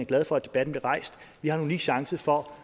glad for at debatten blev rejst vi har en unik chance for